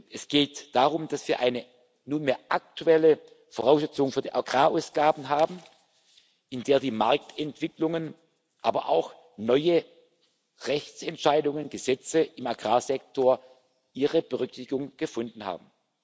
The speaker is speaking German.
EUR. Es geht darum, dass wir eine nunmehr aktuelle Voraussetzung für die Agrarausgaben haben, in der die Marktentwicklungen, aber auch neue Rechtsentscheidungen Gesetze im Agrarsektor Berücksichtigung gefunden